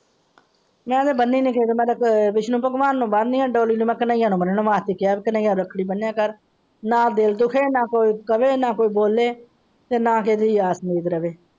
ਮੈਂ ਤੇ ਬਣਨੀ ਨਹੀਂ ਚਾਹੀਦੀ ਮੈਂ ਤੇ ਵਿਸ਼ਨੂੰ ਭਗਵਾਨ ਨੂੰ ਬੰਦੀ ਆ ਨਾ ਦਿਲ ਦੁਖੇ ਨਾ ਕੋਈ ਬੋਲੇ ਨਾ ਕਿਸੇ ਤੋਂ ਆਸ ਰਾਵੇ ।